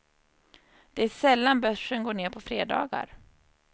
Det är sällan börsen går ner på fredagar.